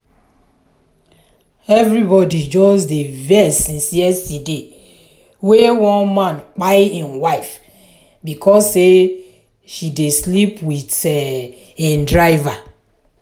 everybody just dey vex since yesterday wey one man kpai im wife because sey she dey sleep with im driver.